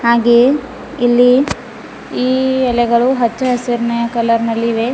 ಹಾಗೆ ಇಲ್ಲಿ ಈ ಎಲೆಗಳು ಹಚ್ಚ ಹಸಿರಿನ ಕಲರ್ ನಲ್ಲಿವೆ.